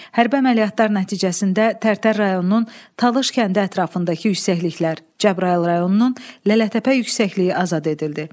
Hərbi əməliyyatlar nəticəsində Tərtər rayonunun Talış kəndi ətrafındakı yüksəkliklər, Cəbrayıl rayonunun Lələtəpə yüksəkliyi azad edildi.